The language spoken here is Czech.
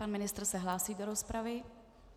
Pan ministr se hlásí do rozpravy.